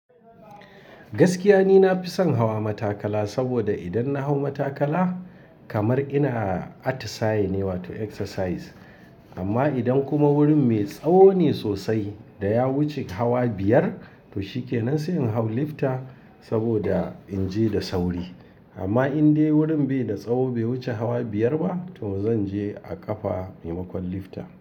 Gaskiya ni nafi son hawa matakala saboda idan na hau matakala kamar ina atti saaye ne wato exercise. Amma idan kuma wurin mai tsawo ne sosai da ya wuce hawa biyar to shikenan sai in hau lifta saboda in je da sauri. Amma in dai wurin bai da tsawo bai wuce hawa biyar ba to zan je a ƙafa maimakon lifta.